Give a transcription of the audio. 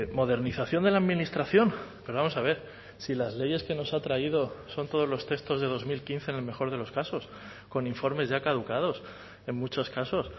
modernización de la administración pero vamos a ver si las leyes que nos ha traído son todos los textos de dos mil quince en el mejor de los casos con informes ya caducados en muchos casos